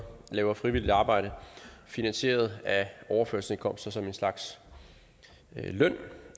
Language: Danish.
laver frivilligt arbejde finansieret af overførselsindkomsten som en slags løn